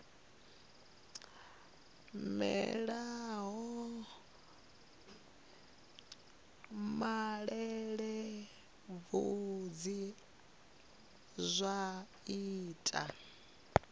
mela ha malelebvudzi zwa ita